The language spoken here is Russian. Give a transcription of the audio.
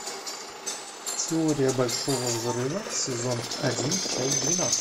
теория большого взрыва сезон один часть двенадцать